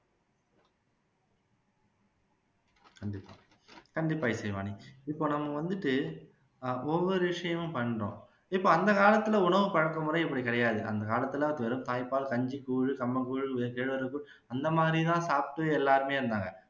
கண்டிப்பா இசைவாணி இப்போ நாம வந்துட்டு ஆஹ் ஒவ்வொரு விஷயமா பண்றோம் இப்போ அந்த காலத்துல உணவு பழக்க முறை அப்படி கிடையாது அந்த காலத்துல வெறும் தாய்ப்பால், கஞ்சி, கூழு, கம்ம்ங்க்கூழு, கேழ்வரகு அந்த மாதிரி தான் சாப்பிட்டு எல்லாருமே இருந்தாங்க